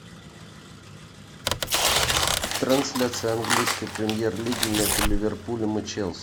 трансляция английской премьер лиги между ливерпулем и челси